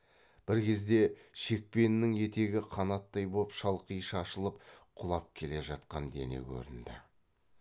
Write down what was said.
бір кезде шекпенінің етегі қанаттай боп шалқи шашылып құлап келе жатқан дене көрінді